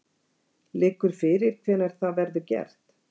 Liggur fyrir hvenær það verður gert?